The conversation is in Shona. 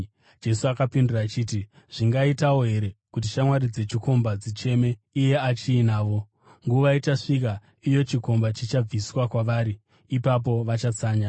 Jesu akapindura achiti, “Zvingaitawo here kuti shamwari dzechikomba dzicheme iye achiinavo? Nguva ichasvika iyo chikomba chichabviswa kwavari, ipapo vachatsanya.